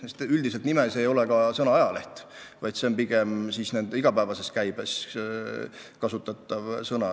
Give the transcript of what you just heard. Üldiselt ei sisalda omavalitsuste häälekandjate nimed sõna "ajaleht", see on pigem nende igapäevases käibes kasutatav sõna.